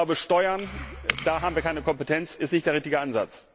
Ich glaube, Steuern da haben wir keine Kompetenz sind nicht der richtige Ansatz.